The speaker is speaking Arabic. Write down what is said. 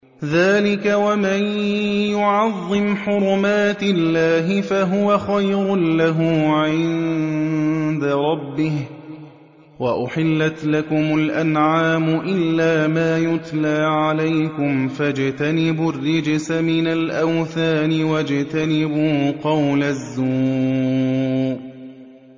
ذَٰلِكَ وَمَن يُعَظِّمْ حُرُمَاتِ اللَّهِ فَهُوَ خَيْرٌ لَّهُ عِندَ رَبِّهِ ۗ وَأُحِلَّتْ لَكُمُ الْأَنْعَامُ إِلَّا مَا يُتْلَىٰ عَلَيْكُمْ ۖ فَاجْتَنِبُوا الرِّجْسَ مِنَ الْأَوْثَانِ وَاجْتَنِبُوا قَوْلَ الزُّورِ